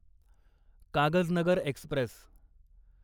Kagaznagar Express